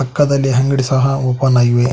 ಪಕ್ಕದಲ್ಲಿ ಅಂಗಡಿ ಸಹ ಓಪನ್ ಆಗಿವೆ.